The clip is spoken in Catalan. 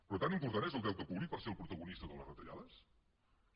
però tan important és el deute públic per ser el protagonista de les retallades no